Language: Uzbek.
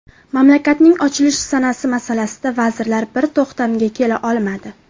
Mamlakatning ochilish sanasi masalasida vazirlar bir to‘xtamga kela olmadi.